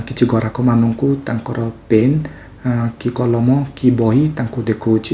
କିଛି ଗରାଖ ମାନଙ୍କୁ ତାଙ୍କର ପେନ୍ କି କଲମ କି ବହି ତାଙ୍କୁ ଦେଖୋଉଚି।